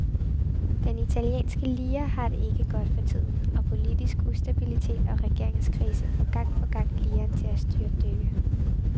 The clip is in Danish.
Den italienske lire har det ikke godt for tiden, og politisk ustabilitet og regeringskrise får gang på gang liren til at styrtdykke.